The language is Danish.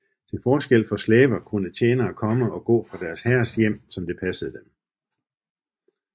Til forskel fra slaver kunne tjenere komme og gå fra deres herres hjem som det passede dem